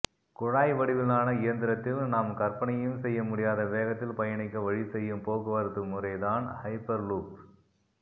குழாய் வடிவிலான இயந்திரத்தில் நாம் கற்பனையும் செய்ய முடியாத வேகத்தில் பயணிக்க வழி செய்யும் போக்குவரத்து முறை தான் ஹைப்பர்லூப்